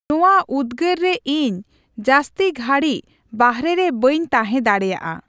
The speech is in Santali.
ᱱᱚᱣᱟ ᱩᱫᱜᱟᱹᱨᱨᱮ ᱤᱧ ᱡᱟᱹᱥᱛᱤ ᱜᱷᱟᱲᱤᱠ ᱵᱟᱨᱦᱮ ᱨᱮ ᱵᱟᱹᱧ ᱛᱟᱦᱮᱸ ᱫᱟᱲᱮᱭᱟᱜᱼᱟ ᱾